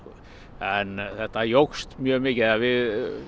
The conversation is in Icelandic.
en þetta jókst mjög mikið eða við